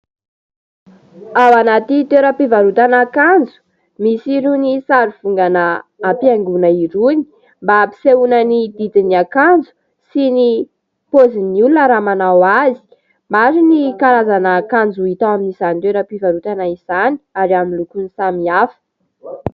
Ao anaty toeram-pivarotana akanjo misy irony sary vongana ampiaingona irony mba hampisehona ny didin'ny akanjo sy ny pôzin'ny olona raha manao azy. Maro ny karazana akanjo hita ao amin'izany toeram-pivarotana izany ary amin'ny lokony samihafa.